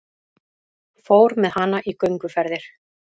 Fór með hana í gönguferðir.